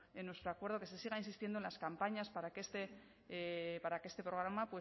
en nuestro acuerdo que se siga insistiendo en las campañas para que este programa